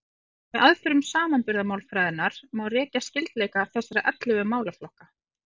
Með aðferðum samanburðarmálfræðinnar má rekja skyldleika þessara ellefu málaflokka.